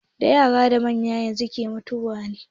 Da yara da manya ke mutuwa kwanan nan.